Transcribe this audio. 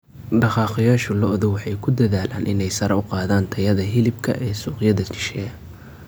Dhaqaaqayaasha lo'du waxay ku dadaalayaan inay sare u qaadaan tayada hilibka ee suuqyada shisheeye.